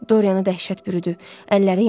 Doryanın dəhşət bürüdü, əlləri yanına düşdü.